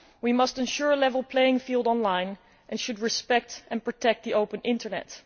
We must ensure a level playing field online and should respect and protect the open Internet.